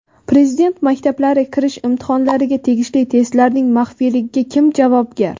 Prezident maktablari kirish imtihonlariga tegishli testlarning maxfiyligiga kim javobgar?.